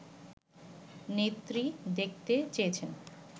নেত্রী দেখতে চেয়েছেন